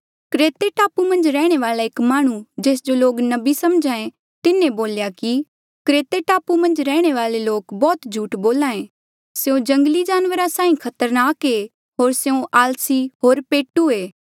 क्रेते टापू मन्झ रैहणे वाल्आ एक माह्णुं जेस जो लोक नबी समझे तिन्हें बोल्या कि क्रेते टापू मन्झ रैहणे वाले लोक बौह्त झूठ बोल्हा ऐें स्यों जंगली जानवरा साहीं खतरनाक ऐें होर स्यों आलसी होर पेटू ऐें